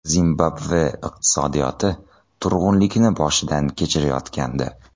Zimbabve iqtisodiyoti turg‘unlikni boshidan kechirayotgandi.